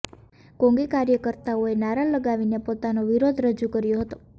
કોંંગી કાર્યકર્તાઓએ નારા લગાવીને પોતાનો વિરોધ રજૂ કર્યો હતો